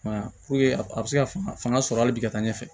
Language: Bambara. I m'a ye puruke a bɛ se ka fanga sɔrɔ hali bi ka taa ɲɛfɛ